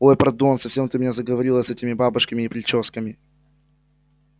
ой пардон совсем ты меня заговорила с этими бабушками и причёсками